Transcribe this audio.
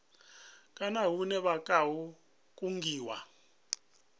kana hune vha khou kungiwa